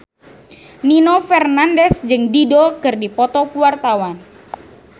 Nino Fernandez jeung Dido keur dipoto ku wartawan